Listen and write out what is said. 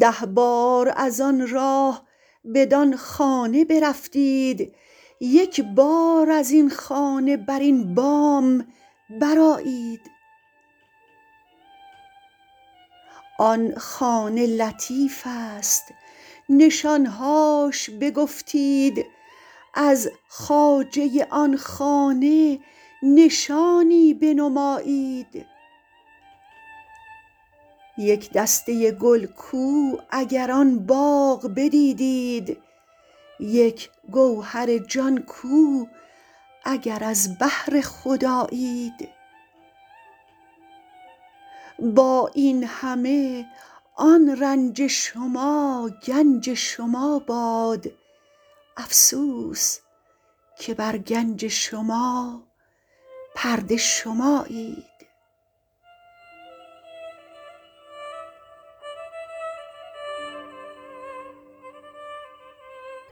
ده بار از آن راه بدان خانه برفتید یک بار از این خانه بر این بام برآیید آن خانه لطیفست نشان هاش بگفتید از خواجه آن خانه نشانی بنمایید یک دسته گل کو اگر آن باغ بدیدید یک گوهر جان کو اگر از بحر خدایید با این همه آن رنج شما گنج شما باد افسوس که بر گنج شما پرده شمایید